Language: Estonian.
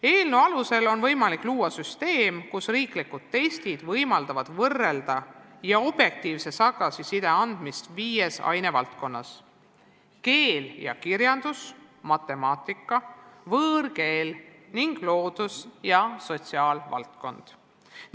Eelnõu alusel on võimalik luua süsteem, milles riiklikud testid võimaldavad võrrelda ja objektiivset tagasisidet anda viies ainevaldkonnas: keel ja kirjandus, matemaatika, võõrkeel ning loodus- ja sotsiaalvaldkond.